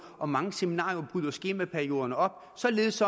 og mange seminarier bryde skemaperioderne op således